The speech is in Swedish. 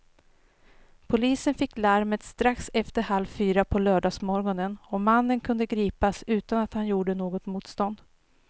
Polisen fick larmet strax efter halv fyra på lördagsmorgonen och mannen kunde gripas utan att han gjorde något motstånd.